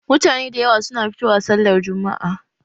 Mutane da yawa suna fito wa sallar jumma'a